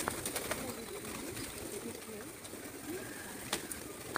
на ютюбе дисней ю ка